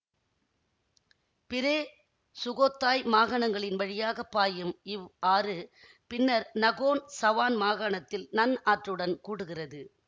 பிரே Sukhothai மாகாணங்களின் வழியாக பாயும் இவ் ஆறு பின்னர் நகோன் சவான் மாகாணத்தில் நன் ஆற்றுடன் கூடுகிறது